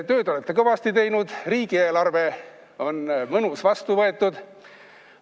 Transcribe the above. Tööd olete kõvasti teinud: riigieelarve on mõnus, vastu võtetud.